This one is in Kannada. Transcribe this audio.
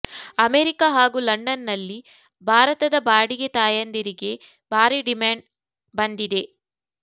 ಅಮೆರಿಕ ಹಾಗೂ ಲಂಡನ್ನಲ್ಲಿ ಭಾರತದ ಬಾಡಿಗೆ ತಾಯಂದಿರಿಗೆ ಭಾರೀ ಡಿಮಾಂಡ್ ಬಂದಿದೆ